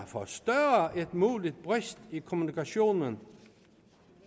forstørre en mulig brist i kommunikationen